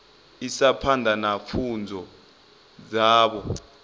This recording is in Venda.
isa phanḓa na pfunzo dzavho